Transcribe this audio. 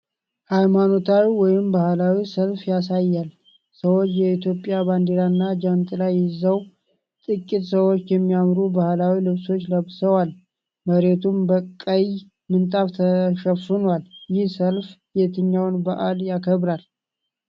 ሃይማኖታዊ ወይም ባህላዊ ሰልፍ ያሳያል። ሰዎች የኢትዮጵያን ባንዲራና ጃንጥላ ይዘዋል። ጥቂት ሰዎች የሚያምሩ ባህላዊ ልብሶች ለብሰዋል፤ መሬቱም በቀይ ምንጣፍ ተሸፍኗል። ይህ ሰልፍ የትኛውን በዓል ያከብራል?